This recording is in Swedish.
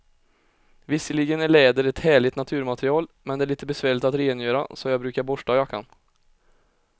Visserligen är läder ett härligt naturmaterial, men det är lite besvärligt att rengöra, så jag brukar borsta jackan.